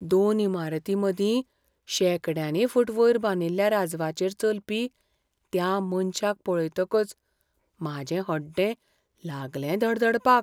दोन इमारतीं मदीं शेंकड्यांनी फूट वयर बांदिल्ल्या राजवाचेर चलपी त्या मनशाक पळयतकच म्हाजें हड्डें लागलें धडधडपाक.